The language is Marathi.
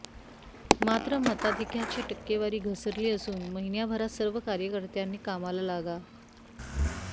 मात्र मताधिक्याची टक्केवारी घसरली असून महिन्याभरात सर्व कार्यकर्त्यांनी कामाला लागा